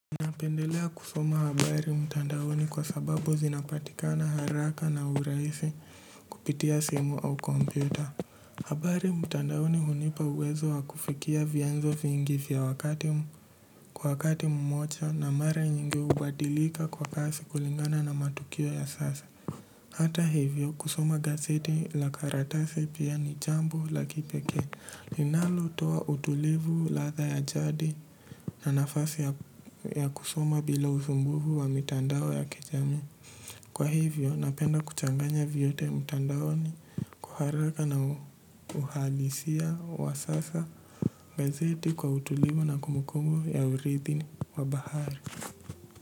Napendelea kusoma habari mtandaoni kwa sababu zinapatikana haraka na uraisi kupitia simu au kompyuta. Habari mtandaoni hunipa uwezo wa kufikia vianzo vingi vya kwa wakati mmocha na mara nyingi hubadilika kwa kasi kulingana na matukio ya sasa. Hata hivyo kusoma gazeti la karatasi pia ni jambo la kipekee linalotoa utulivu ladha ya jadi na nafasi ya kusoma bila uzumbuvu wa mitandao ya kijamii. Kwa hivyo napenda kuchanganya vyote mtandaoni kwa haraka na uhalisia wa sasa gazeti kwa utulivu na kumukumu ya urithi wa bahari.